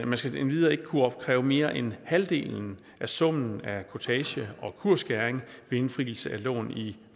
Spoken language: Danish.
man skal endvidere ikke kunne opkræve mere end halvdelen af summen af kurtage og kursskæring ved indfrielse af lån i